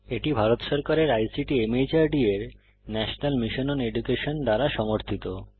এটি ভারত সরকারের আইসিটি মাহর্দ এর ন্যাশনাল মিশন ওন এডুকেশন দ্বারা সমর্থিত